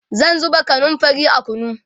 zan zuba kanumfari a kunu